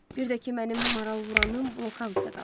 Bir də ki, mənim maralvuranım blokauzda qalıb.